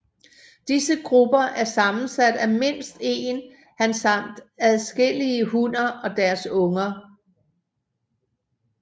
Disse grupper er sammensat af mindst en han samt adskillige hunner og deres unger